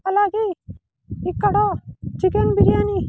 అలాగే ఇక్కడ చికెన్ బిర్యాని --